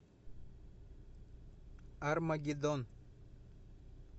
армагеддон